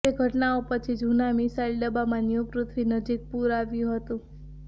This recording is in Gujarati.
તે ઘટનાઓ પછી જૂના મિસાઈલ ડબ્બામાં ન્યૂ પૃથ્વી નજીક પૂર આવ્યું હતું